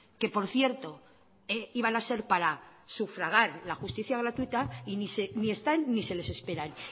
que por cierto iban a ser para sufragar la justicia gratuita y ni están ni se les esperan